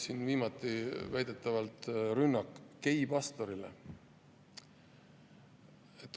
Näiteks oli hiljuti väidetavalt rünnak geipastori vastu.